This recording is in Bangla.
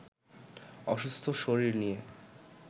অসুস্থ শরীর নিয়ে